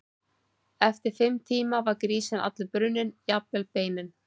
Eftir fimm tíma var grísinn allur brunninn, jafnvel beinin.